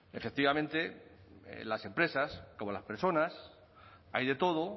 efectivamente en las empresas como las personas hay de todo